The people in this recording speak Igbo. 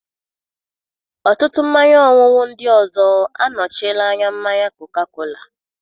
Ọtụtụ mmanya ọṅụṅụ ndị ọzọ anọchiela anya mmanya koka-kola.